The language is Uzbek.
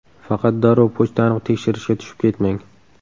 Faqat darrov pochtani tekshirishga tushib ketmang.